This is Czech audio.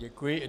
Děkuji.